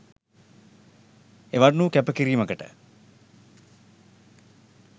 එවන් වූ කැප කිරීමකට